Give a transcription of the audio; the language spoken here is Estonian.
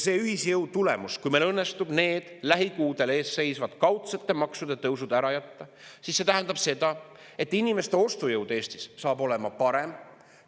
See ühisjõu tulemus, kui meil õnnestub need lähikuudel eesseisvad kaudsete maksude tõusud ära jätta, tähendab seda, et inimeste ostujõud Eestis saab olema parem.